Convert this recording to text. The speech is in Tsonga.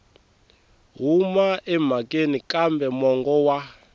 huma emhakeni kambe mongo wa